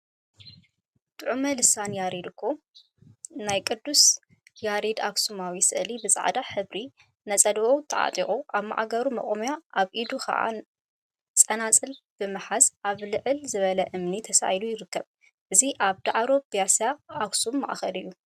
ጡዑመ ልሳን ያሬድ ካህን እኮ! ናይ ቅዱስ ያሬድ አክሱማዊ ስእሊ ብፃዕዳ ሕብሪ ነፀልኡ ተዓጢቁ አብ ማእገሩ መቆምያ አብ ኢዱ ከዓ ፀናፅል ብምትሓዝ አብ ልዕል ዝበለ እምኒ ተሳኢሉ ይርከብ፡፡ እዚ አብ ዳዕሮ ብያሳ አክሱም ማእከል እዩ፡፡